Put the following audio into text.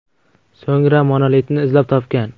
So‘ngra monolitni izlab topgan.